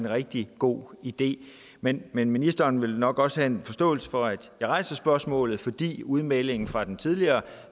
rigtig god idé men men ministeren vil nok også have en forståelse for at jeg rejser spørgsmålet fordi udmeldingen fra den tidligere